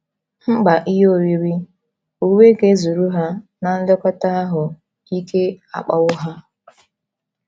Mkpa ihe oriri, uwe ga - ezuru ha, na nlekọta ahụ́ ike akpawo ha.